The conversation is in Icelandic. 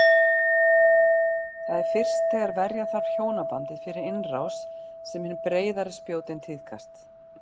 Það er fyrst þegar verja þarf hjónabandið fyrir innrás sem hin breiðari spjótin tíðkast.